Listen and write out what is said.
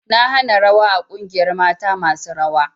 Na hana rawa a ƙungiyar mata masu rawa!